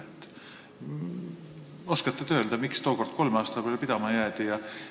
Ka te oskate öelda, miks tookord kolme aasta peale pidama jäädi?